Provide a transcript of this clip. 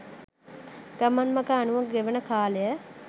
ගමන් මග අනුව ගෙවෙන කාලය